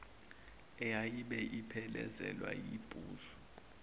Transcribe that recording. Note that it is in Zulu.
eyayibuye iphelezelwe yibhuzu